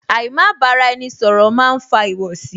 Àì má bára ẹni ṣọ̀rọ̀ máa ń fa ìwọ̀sí